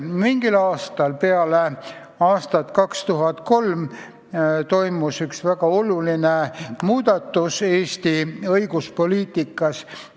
Mingil aastal peale aastat 2003 toimus üks väga oluline muudatus Eesti õiguspoliitikas.